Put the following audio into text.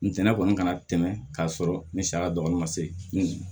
Ntɛnɛ kɔni ka na tɛmɛ k'a sɔrɔ ni saya dɔgɔnin ma se